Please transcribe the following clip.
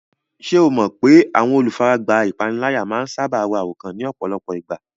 Ṣé o mọ̀ pé àwọn olùfaragbá ìpániláyà máa ń sáábà ro àròkán ní ọ̀pọ̀lọpọ̀ ìgbà?